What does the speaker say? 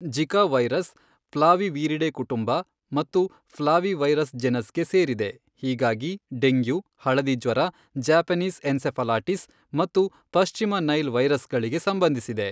Zika virus Flaviviridae ಕುಟುಂಬ ಮತ್ತು flavivirus ಜೆನಸ್ಗೆ ಸೇರಿದೆ, ಹೀಗಾಗಿ ಡೆಂಗ್ಯೂ, ಹಳದಿ ಜ್ವರ, ಜ್ಯಾಪನೀಸ್ ಎನ್ಸೆಫಾಲಿಟಿಸ್ ಮತ್ತು ಪಶ್ಚಿಮ ನೈಲ್ ವೈರಸ್ಗಳಿಗೆ ಸಂಬಂಧಿಸಿದೆ.